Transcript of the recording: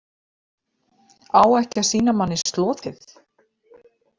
Á ekki að sýna manni slotið?